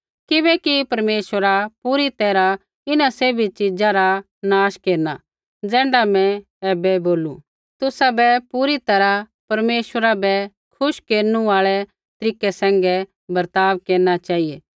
किबैकि परमेश्वरा पूरी तैरहा इन्हां सैभी च़ीज़ा रा नाश केरना ज़ैण्ढा मैं ऐबै बोलू तुसाबै पूरी तैरहा परमेश्वरा बै खुश केरनु आल़ै तरीकै सैंघै बर्ताव केरना चेहिऐ